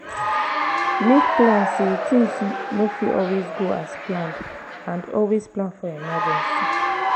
make plans if things no fit always go as planned and always plan for emergency